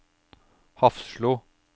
Hafslo